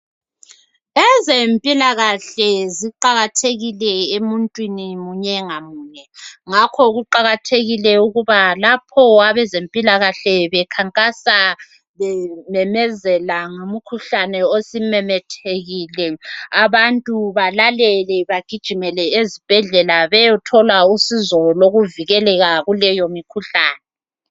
Ezempilakahle ziqakathekile emuntwini munye ngamunye ngakho kuqakathekile ukuba lapho abezempilakahle bekhankasa bememezela ngomkhuhlane osumemethekile bananzelele bagijimele ezibhendlela beyethola usizo olukuvikeleka kuleyo mikhuhlane